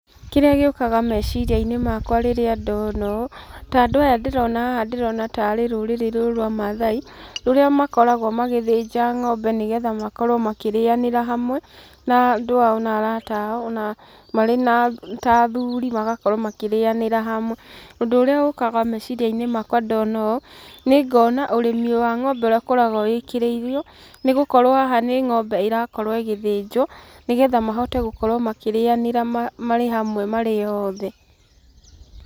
Kĩrĩa gĩũkaga meciria-inĩ makwa rĩrĩ ndona ũũ, ta andũ aya ndĩrona haha ndĩrona ta arĩ rũrĩrĩ rũu rwa maathai, rũrĩa makoragwo magĩthĩnja ng'ombe nĩgetha makorwo makĩrĩanĩra hamwe na andũ ao na arata ao ona marĩ ta athuri magakorwo makĩrĩanĩra hamwe. Ũndũ ũrĩa ũkaga meciria-inĩ makwa ndona ũũ, nĩ ngona ũrĩmi wa ng'ombe ũrĩa ũkoragwo wĩkĩrĩirwo, nĩgũkorwo haha nĩ ng'ombe ĩra korwo ĩgĩthĩnjwo, nĩgetha mahote gũkorwo makĩrĩanĩra marĩ hamwe marĩ othe.